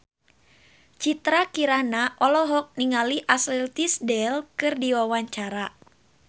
Citra Kirana olohok ningali Ashley Tisdale keur diwawancara